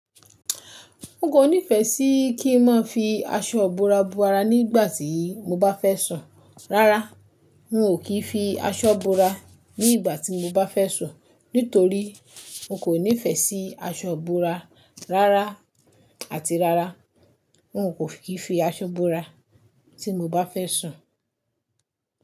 N kò nífẹẹ sí kí n máa fi aṣọ ibora bora nígbà tí mo bá fẹ́ sùn. Rárá, n ò kí fi aṣọ bora nígbà tí mo bá fẹ́ sùn nítorí n kò nífẹẹ sí aṣọ bora rárá àti rárá, n ò kí fi aṣọ bora tí mo bá fẹ́ sùn.